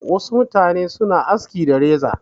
Wasu mutane suna aski da reza.